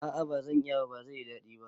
A'a bazan iya ba, bazai yi daɗi ba